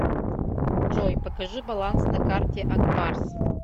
джой покажи баланс на карте акбарс